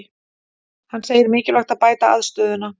Hann segir mikilvægt að bæta aðstöðuna